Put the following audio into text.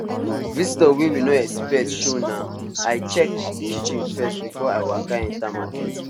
visitor wey we no expect show nai i check kitchen first before i waka enter market